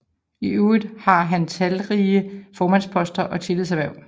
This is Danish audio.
I øvrigt har han talrige formandsposter og tillidshverv